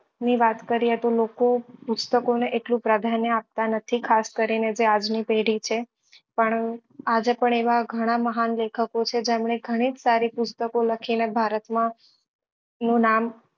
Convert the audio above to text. ની વાત કરીએ તો લોકો પુસ્તકો ને એટલું પ્રાધાન્ય આપતા નથી ખાસ કરી ને જે આજ ની પેઢી છે પણ આજે પણ એવા ગણા મહાન લેખકો છે જેમને ગણી જ સારી પુસ્તકો લખી ને ભારત માં નું નામ